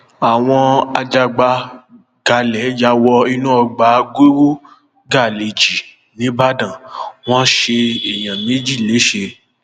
àwọn ajagbágalẹ ya wọ inú ọgbà guru gàlej jí nìbàdàn wọn ṣe èèyàn méjì lẹsẹ